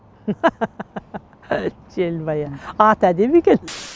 желмая аты әдемі екен